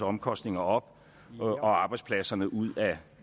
omkostninger op og arbejdspladserne ud af